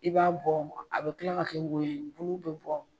I b'a bɔ a be kila ka kɛ y wonyo ye bulu be bɔ